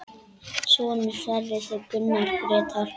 Sonur Sverris er Gunnar Grétar.